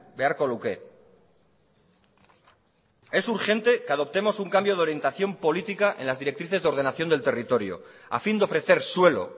beharko luke es urgente que adoptemos un cambio de orientación política en las directrices de ordenación del territorio a fin de ofrecer suelo